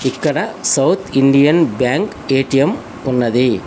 ఇక్కడ South Indian Bank ATM ఉన్నది.